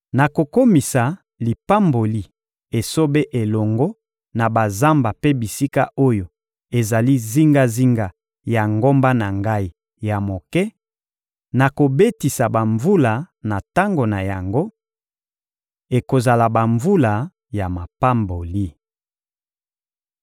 Nakokomisa lipamboli esobe elongo na bazamba mpe bisika oyo ezali zingazinga ya ngomba na Ngai ya moke; nakobetisa bamvula na tango na yango: ekozala bamvula ya mapamboli.